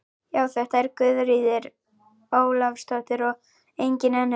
Já, þetta var Guðríður Ólafsdóttir og engin önnur!